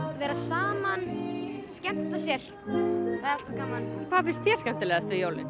vera saman skemmta sér hvað finnst þér skemmtilegast við jólin